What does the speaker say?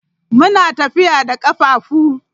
Muna tafiya da kafafu.